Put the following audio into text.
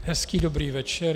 Hezký dobrý večer.